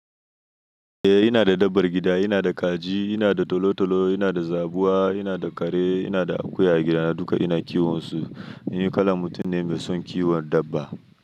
Eh ina da dabar gida, ina da kaji, ina da tolo tolo, ina da zabuwa, ina da kare, ina da akuya gida, duka ina kiwon su. Ni kalan mutum ne mai son kiwon dabba.